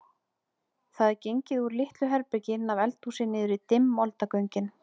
Það er gengið úr litlu herbergi inn af eldhúsi niður í dimm moldargöngin.